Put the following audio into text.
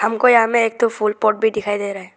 हमको यहां में एक थो फूल पॉट भी दिखाई दे रहा है।